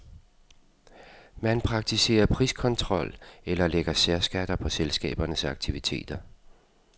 Man praktiserer priskontrol eller lægger særskatter på selskabernes aktiviteter.